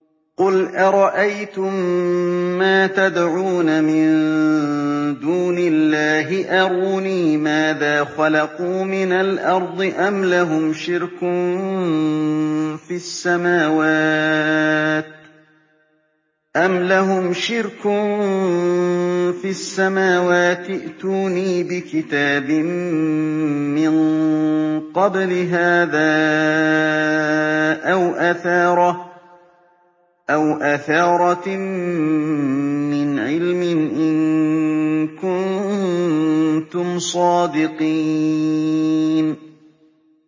قُلْ أَرَأَيْتُم مَّا تَدْعُونَ مِن دُونِ اللَّهِ أَرُونِي مَاذَا خَلَقُوا مِنَ الْأَرْضِ أَمْ لَهُمْ شِرْكٌ فِي السَّمَاوَاتِ ۖ ائْتُونِي بِكِتَابٍ مِّن قَبْلِ هَٰذَا أَوْ أَثَارَةٍ مِّنْ عِلْمٍ إِن كُنتُمْ صَادِقِينَ